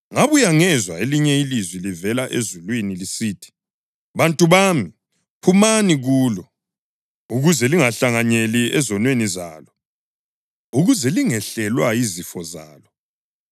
Ngabuya ngezwa elinye ilizwi livela ezulwini lisithi: “ ‘Bantu bami, phumani kulo,’ + 18.4 UJeremiya 51.45 ukuze lingahlanganyeli ezonweni zalo ukuze lingehlelwa yizifo zalo;